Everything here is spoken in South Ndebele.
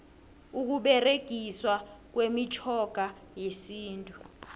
ukuberegiswa kwemitjhoga yesintu